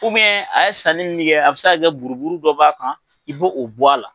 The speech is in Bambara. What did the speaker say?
a ye sanni min kɛ a bɛ se ka kɛ buruburu dɔ b'a kan i b'o a la.